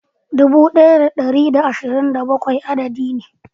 Dubu daya da dari da ashirin da bakwai adadi ne.